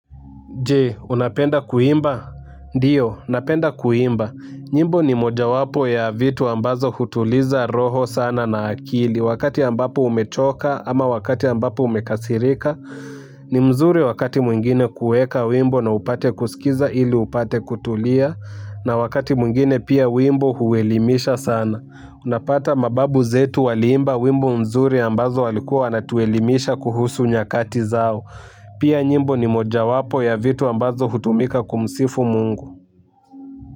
Jee, unapenda kuimba? Ndiyo, napenda kuimba. Nyimbo ni mojawapo ya vitu ambazo hutuliza roho sana na akili. Wakati ambapo umechoka ama wakati ambapo umekasirika ni mzuri wakati mwingine kueka wimbo na upate kusikiza ili upate kutulia. Na wakati mwingine pia wimbo huelimisha sana. Unapata mababu zetu waliimba wimbo mzuri ambazo walikuwa wanatuelimisha kuhusu nyakati zao. Pia nyimbo ni mojawapo ya njia ambazo hutumika kumsifu mungu.